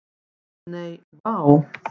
Nei, vá.